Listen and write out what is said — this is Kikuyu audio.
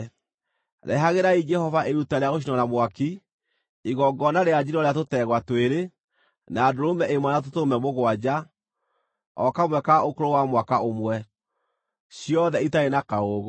Rehagĩrai Jehova iruta rĩa gũcinwo na mwaki, igongona rĩa njino rĩa tũtegwa twĩrĩ, na ndũrũme ĩmwe na tũtũrũme mũgwanja o kamwe ka ũkũrũ wa mwaka ũmwe, ciothe itarĩ na kaũũgũ.